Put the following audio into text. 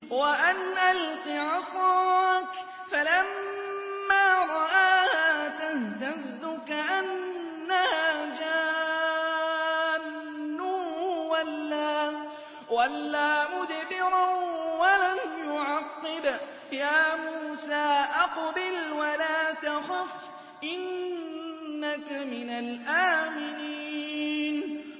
وَأَنْ أَلْقِ عَصَاكَ ۖ فَلَمَّا رَآهَا تَهْتَزُّ كَأَنَّهَا جَانٌّ وَلَّىٰ مُدْبِرًا وَلَمْ يُعَقِّبْ ۚ يَا مُوسَىٰ أَقْبِلْ وَلَا تَخَفْ ۖ إِنَّكَ مِنَ الْآمِنِينَ